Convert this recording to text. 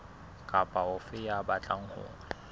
kapa ofe ya batlang ho